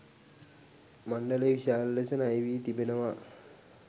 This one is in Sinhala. මණ්ඩලය විශාල ලෙස ණයවී තිබෙනවා.